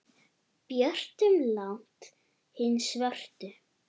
björtum langt hin svörtu.